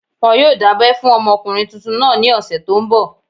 Wọn yóò dábẹ́ fún ọmọkùnrin tuntun náà ní ọ̀sẹ̀ tó n bọ̀